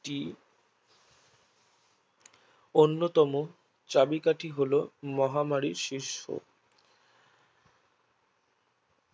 অন্যতম চাবিকাঠি হলো মহামারী সৃষ্টি